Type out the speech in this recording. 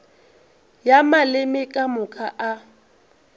ya maleme ka moka a